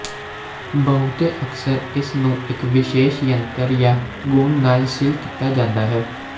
ਬਹੁਤੇ ਅਕਸਰ ਇਸ ਨੂੰ ਇੱਕ ਵਿਸ਼ੇਸ਼ ਯੰਤਰ ਜਾਂ ਗੂੰਦ ਨਾਲ ਸੀਲ ਕੀਤਾ ਜਾਂਦਾ ਹੈ